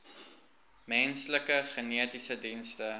menslike genetiese dienste